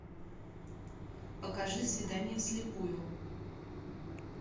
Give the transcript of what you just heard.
покажи свидание вслепую